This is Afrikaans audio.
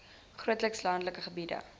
grootliks landelike gebied